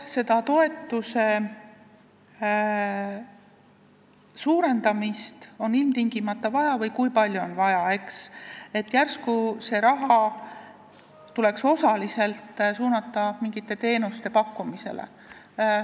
... suurendamist on ilmtingimata vaja või kui palju on seda vaja suurendada, järsku tuleks see raha osaliselt kulutada mingite teenuste pakkumiseks.